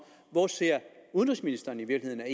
hvor udenrigsministeren i virkeligheden